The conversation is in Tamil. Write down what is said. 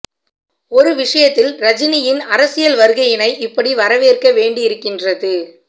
ஒரு விஷயத்தில் ரஜினியின் அரசியல் வருகையினை இப்படி வரவேற்க வேண்டி இருக்கின்றது